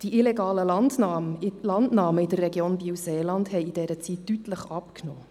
Die illegalen Landnahmen in der Region Biel-Seeland haben in dieser Zeit deutlich abgenommen.